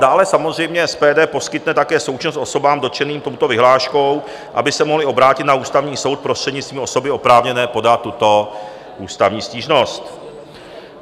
Dále samozřejmě SPD poskytne také součinnost osobám dotčeným touto vyhláškou, aby se mohly obrátit na Ústavní soud prostřednictvím osoby oprávněné podat tuto ústavní stížnost.